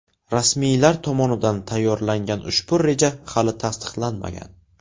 Rasmiylar tomonidan tayyorlangan ushbu reja hali tasdiqlanmagan.